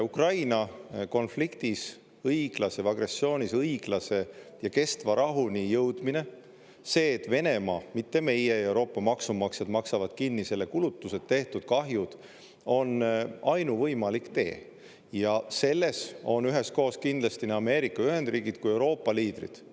Ukraina konfliktis õiglase või agressioonis õiglase ja kestva rahuni jõudmine, see, et Venemaa, mitte meie ja Euroopa maksumaksjad, maksab kinni need kulutused, tehtud kahjud, on ainuvõimalik tee ja selles on üheskoos kindlasti nii Ameerika Ühendriigid kui Euroopa liidrid.